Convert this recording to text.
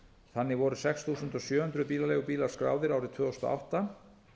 þannig voru sex þúsund sjö hundruð bílaleigubílar skráðir árið tvö þúsund og átta